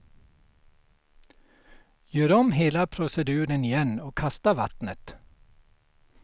Gör om hela proceduren igen och kasta vattnet.